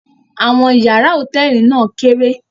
Àwọn ìyàrá hòtẹ́ẹ́lì náà kéré.